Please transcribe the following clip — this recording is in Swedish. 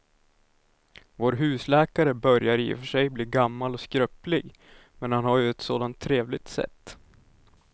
Vår husläkare börjar i och för sig bli gammal och skröplig, men han har ju ett sådant trevligt sätt!